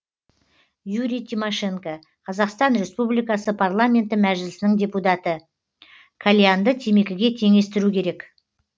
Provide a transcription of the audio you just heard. юрий тимощенко қазақстан республикасы парламенті мәжілісінің депутаты кальянды темекіге теңестіру керек